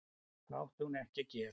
Það átti hún ekki að gera.